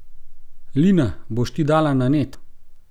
Lina, boš ti dala na net?